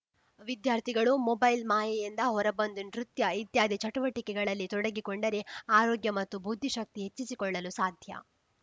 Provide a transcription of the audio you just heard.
ವಿದ್ಯಾರ್ಥಿಗಳು ಮೊಬೈಲ್‌ ಮಾಯೆಯಿಂದ ಹೊರ ಬಂದು ನೃತ್ಯ ಇತ್ಯಾದಿ ಚಟುವಟಿಕೆಗಳಲ್ಲಿ ತೊಡಗಿ ಕೊಂಡರೆ ಆರೋಗ್ಯ ಮತ್ತು ಬುದ್ಧಿಶಕ್ತಿ ಹೆಚ್ಚಿಸಿಕೊಳ್ಳಲು ಸಾಧ್ಯ